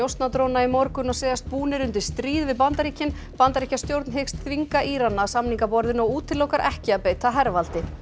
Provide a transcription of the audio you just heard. njósnadróna í morgun og segjast búnir undir stríð við Bandaríkin Bandaríkjastjórn hyggst þvinga Írana að samningaborðinu og útilokar ekki að beita hervaldi